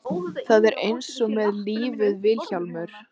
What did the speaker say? Það er eins með lífið Vilhjálmur.